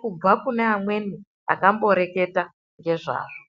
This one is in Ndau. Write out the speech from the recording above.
kubva kune amweni akamboreketa ngezvazvo.